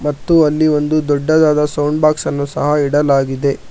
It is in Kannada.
ಮತ್ತು ಅಲ್ಲಿ ಒಂದು ದೊಡ್ಡದಾದ ಸೌಂಡ್ ಬಾಕ್ಸ್ ಅನ್ನು ಸಹ ಇಡಲಾಗಿದೆ.